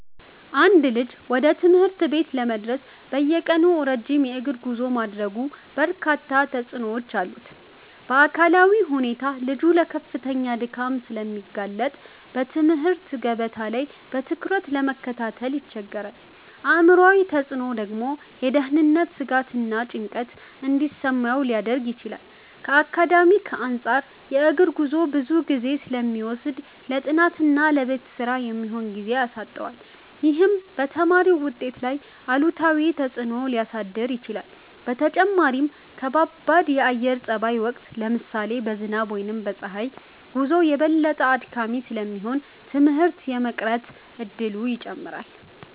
አንድ ልጅ ወደ ትምህርት ቤት ለመድረስ በየቀኑ ረጅም የእግር ጉዞ ማድረጉ በርካታ ተጽዕኖዎች አሉት። በአካላዊ ሁኔታ ልጁ ለከፍተኛ ድካም ስለሚጋለጥ በትምህርት ገበታ ላይ በትኩረት ለመከታተል ይቸገራል። አእምሯዊ ተጽዕኖው ደግሞ የደህንነት ስጋትና ጭንቀት እንዲሰማው ሊያደርግ ይችላል። ከአካዳሚክ አንፃርም የእግር ጉዞው ብዙ ጊዜ ስለሚወስድ ለጥናትና ለቤት ስራ የሚሆን ጊዜ ያሳጣዋል። ይህም በተማሪው ውጤት ላይ አሉታዊ ተጽዕኖ ሊያሳድር ይችላል። በተጨማሪም በከባድ የአየር ጸባይ ወቅት (ለምሳሌ በዝናብ ወይም በፀሐይ) ጉዞው የበለጠ አድካሚ ስለሚሆን ትምህርት የመቅረት እድሉን ይጨምራል።